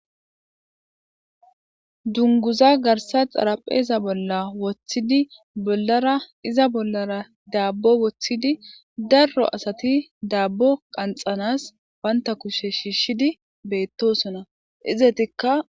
Dunnguza garsa xarapheza bolla wottidi bollara iza bollara daabbo wottiidi darro asati daabbo qanxanas baanitta kushe shiishshidi beettosona izetikka.